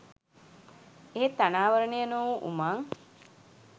එහෙත් අනාවරණය නොවූ උමං